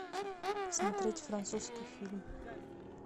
смотреть французский фильм